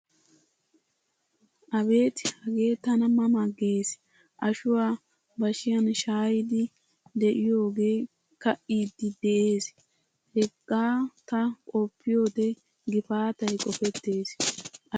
Abeeti hage tana ma ma gees. Ashuwaa bashiyan shaayidi de'iyoge kaidi de'ees. Hagaa ta qoppiyode gifaatay qofettees. Ashuwaa ha giddon ma erennaga ta doona saasoyiis.